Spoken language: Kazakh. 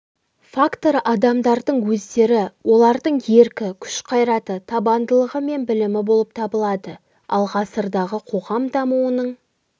факторы адамдардың өздері олардың еркі күш-қайраты табандылығы мен білімі болып табылады ал ғасырдағы қоғам дамуының